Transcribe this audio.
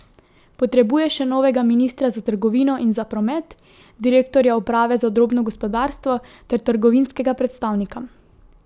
Potrebuje še novega ministra za trgovino in za promet, direktorja uprave za drobno gospodarstvo ter trgovinskega predstavnika.